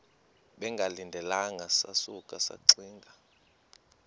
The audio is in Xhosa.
bengalindelanga sasuka saxinga